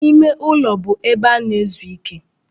Ime ụlọ bụ ebe a na-ezu ike.